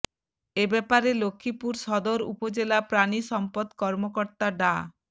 এ ব্যাপারে লক্ষ্মীপুর সদর উপজেলা প্রাণি সম্পদ কর্মকর্তা ডা